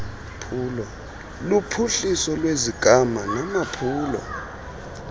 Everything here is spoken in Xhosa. luphuhliso lwesigama namaphulo